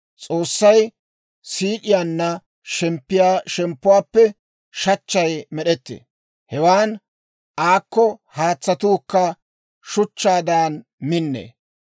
S'oossay siid'iyaanna shemppiyaa shemppuwaappe shachchay med'ettee; hewan aakko haatsatuukka shuchchaadan minnee.